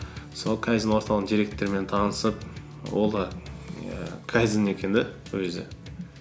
сол кайдзен орталығының директорымен танысып ол ііі кайдзен екен де өзі